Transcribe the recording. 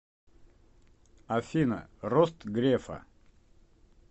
афина рост грефа